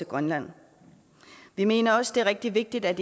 grønland vi mener også det er rigtig vigtigt at